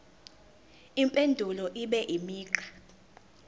impendulo ibe imigqa